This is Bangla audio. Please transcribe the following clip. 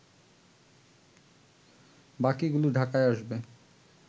বাকিগুলো ঢাকায় আসবে